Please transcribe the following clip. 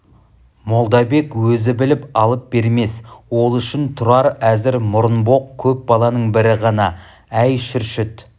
молдабек өзі біліп алып бермес ол үшін тұрар әзір мұрынбоқ көп баланың бірі ғана әй шүршіт